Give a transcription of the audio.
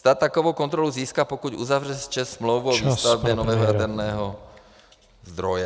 Stát takovou kontrolu získá, pokud uzavře s ČEZ smlouvu o výstavbě nového jaderného zdroje.